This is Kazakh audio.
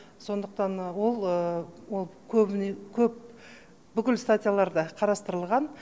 сондықтан ол ол көбіне көп бүкіл статьяларда қарастырылған